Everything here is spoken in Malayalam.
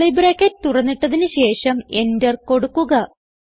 കർലി ബ്രാക്കറ്റ് തുറന്നിട്ടതിന് ശേഷം എന്റർ കൊടുക്കുക